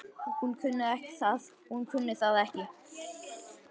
Hún kunni það ekki.